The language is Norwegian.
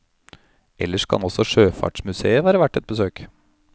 Ellers kan også sjøfartsmusèet være verdt et besøk.